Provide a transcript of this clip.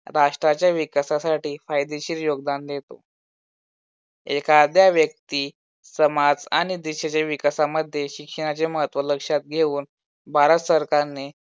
राष्ट्राच्या विकासासाठी फायदेशीर योगदान देतो. एखाद्या व्यक्ती समाज आणि आणि देशाच्या विकासामध्ये शिक्षणाचे महत्त्व लक्षात घेऊन भारत सरकारने